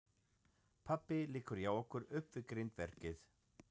Pabbi liggur hjá okkur upp við grindverkið.